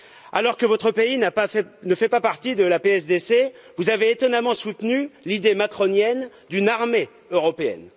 Alors que votre pays ne fait pas partie de la PSDC, vous avez étonnamment soutenu l'idée macronienne d'une armée européenne.